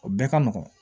O bɛɛ ka nɔgɔn